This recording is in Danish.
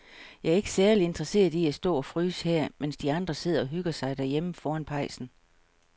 Jeg er ikke særlig interesseret i at stå og fryse her, mens de andre sidder og hygger sig derhjemme foran pejsen.